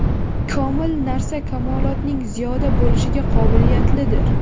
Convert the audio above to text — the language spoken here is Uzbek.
Komil narsa kamolotning ziyoda bo‘lishiga qobiliyatlidir.